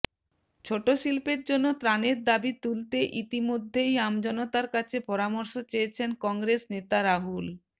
ছোট শিল্পের জন্য ত্রাণের দাবি তুলতে ইতিমধ্যেই আমজনতার কাছে পরামর্শ চেয়েছেন কংগ্রেস নেতা রাহুল